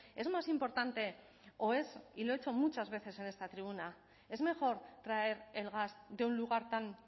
es más importante o es y lo he hecho muchas veces en esta tribuna es mejor traer el gas de un lugar tan